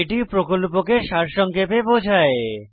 এটি প্রকল্পকে সারসংক্ষেপে বোঝায়